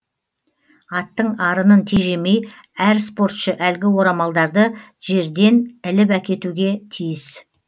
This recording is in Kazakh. аттың арынын тежемей әр спортшы әлгі орамалдарды жердей іліп әкетуге тиіс